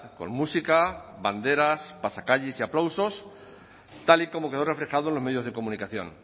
con música banderas pasacalles y aplausos tal y como quedó reflejado en los medios de comunicación